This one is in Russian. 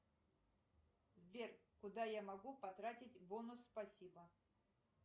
сбер куда я могу потратить бонус спасибо